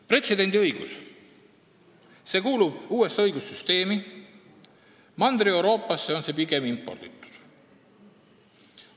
Pretsedendiõigus kuulub USA õigussüsteemi, Mandri-Euroopasse on see pigem imporditud.